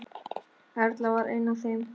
Erla var ein af þeim.